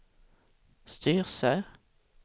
Styrsö